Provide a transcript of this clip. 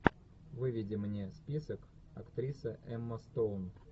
выведи мне список актриса эмма стоун